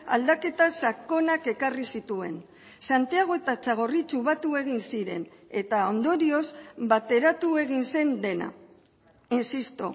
aldaketa sakonak ekarri zituen santiago eta txagorritxu batu egin ziren eta ondorioz bateratu egin zen dena insisto